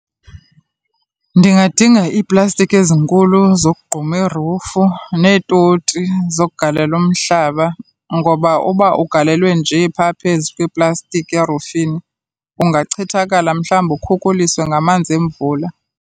Ndingadinga iiplastiki ezinkulu zokogquma irufu neetoti zokugalela umhlaba, ngoba uba ugalelwe nje pha phezu kweplastiki erufini ungachithakala, mhlawumbi ukhuliswe ngamanzi emvula.